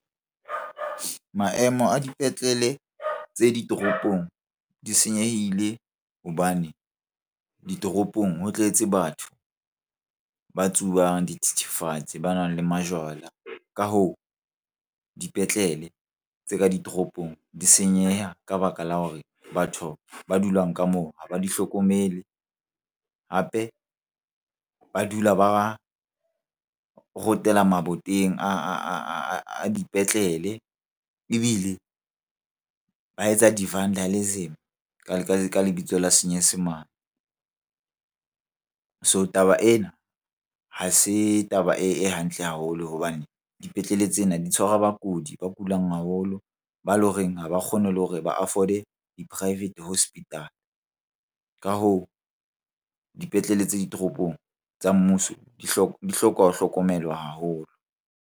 Maemo a dipetlele tse ditoropong di senyehile hobane ditoropong ho tletse batho ba tsubang dithethefatsi, ba nwang le majwala. Ka hoo dipetlele tse ka ditoropong di senyeha ka baka la hore batho ba dulang ka moo ha ba di hlokomele, hape ba dula ba rotela maboteng a dipetlele. Ebile ba etsa di-vandalism ka lebitso la senyesemane. So taba ena ha se taba e hantle haholo hobane dipetlele tsena di tshwara bakudi ba kulang haholo, ba loreng ha ba kgone le hore ba afford-e di-private hospital. Ka hoo, dipetlele tse ditoropong tsa mmuso di hloka ho hlokomelwa haholo.